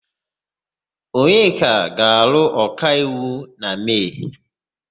Onyeka ga-alụ ọkaiwu na Mee.